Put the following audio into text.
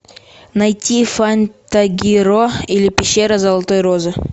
найти фантагиро или пещера золотой розы